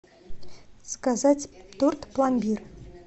заказать торт пломбир